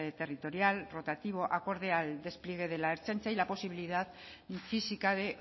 territorial rotativo acorde al despliegue de la ertzaintza y la posibilidad física de